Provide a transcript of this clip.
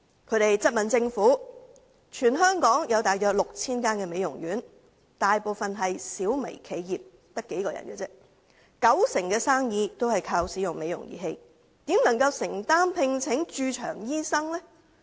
他們質問政府，全港有大約 6,000 間美容院，大部分是小微企業，只有數名員工，九成生意也倚靠使用美容儀器，如何能承擔聘請駐場醫生呢？